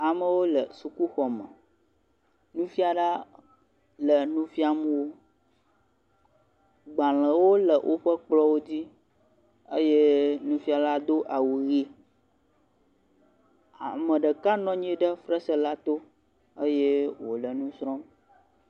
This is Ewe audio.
Amewo le sukuxɔme, nufiala le nufiam wo, gbalẽwo le woƒe kplɔwo dzi eye nufiala do awu ɣi. Ameɖeka nɔnyi ɖe fesrɛ la to eye wole nusrɔ.